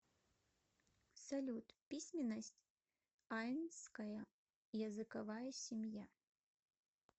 салют письменность айнская языковая семья